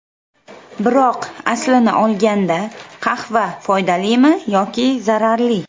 Biroq, aslini olganda qahva foydalimi yoki zararli?